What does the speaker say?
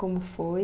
Como foi?